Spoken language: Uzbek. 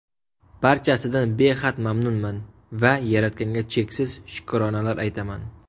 Barchasidan behad mamnunman va Yaratganga cheksiz shukronalar aytaman!